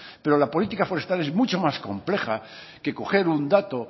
pero la política forestal es mucho más compleja que coger un dato